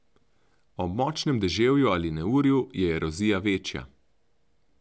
Ob močnejšem deževju ali neurju je erozija večja.